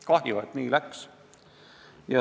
Kahju, et nii läks.